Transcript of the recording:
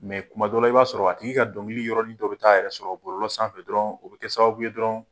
kumadɔ la, i b'a sɔrɔ a tigi ka dɔngili yɔrɔ ni dɔ bɛ taa a yɛrɛ sɔrɔ bɔlɔlɔ sanfɛ dɔrɔn o bɛ kɛ sababu ye dɔrɔn